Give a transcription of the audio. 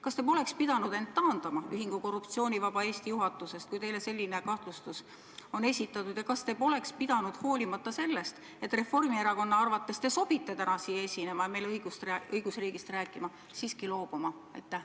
Kas te poleks pidanud end taandama ühingu Korruptsioonivaba Eesti juhatusest, kui teile selline kahtlustus on esitatud, ja kas te poleks pidanud – hoolimata sellest, et Reformierakonna arvates te sobite täna siin esinema ja meile õigusriigist rääkima – esinemisest siiski loobuma?